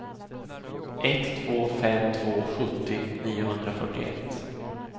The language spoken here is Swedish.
ett två fem två sjuttio niohundrafyrtioett